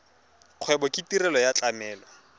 kgwebo ke tirelo ya tlamelo